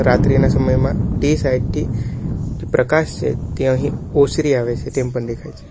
રાત્રિના સમયમાં તે સાઇડ થી પ્રકાશ છે તે અહીં ઓસરી આવે છે તેમ પણ દેખાય છે.